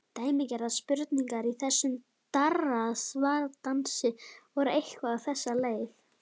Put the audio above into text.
Dæmigerðar spurningar í þessum darraðardansi voru eitthvað á þessa leið